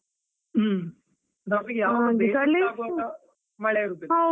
ಹೂಂ. ಮಳೆ ಇರುದಿಲ್ಲ.